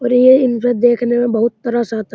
और ये इंद्र दिखने में बोहोत तरस आता --